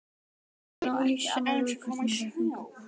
Hún á ekki annars úrkosti en að fara í þungunarpróf.